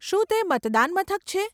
શું તે મતદાન મથક છે?